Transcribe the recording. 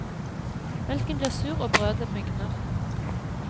Melken blir sur og brødet mugner.